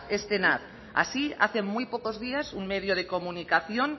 es así hace muy pocos días un medio de comunicación